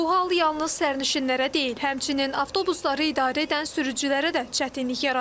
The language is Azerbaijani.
Bu hal yalnız sərnişinlərə deyil, həmçinin avtobusları idarə edən sürücülərə də çətinlik yaradır.